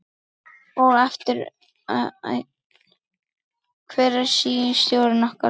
Og eftir atvikum aðra fingur.